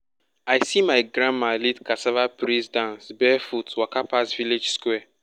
i see my grandma lead cassava praise dance barefoot waka pass village square.